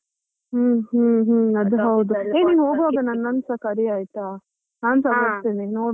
ಹ್ಮ್ ಹ್ಮ್ ಅದು ಹೌದು ಹೋಗುವಾಗ ನನ್ನನ್ನುಸಾ ಕರೀ ಆಯ್ತಾ ನಾನ್ಸಾ ನೋಡುವಾ ಹೇಗೆ.